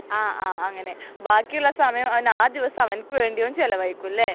ആഹ് ആഹ് അങ്ങിനെ ബാക്കി ഉള്ള സമയം അവൻ ആ ദിവസം അവൻക്ക് വേണ്ടി അവൻ ചെലവഴിക്കും ഇല്ലേ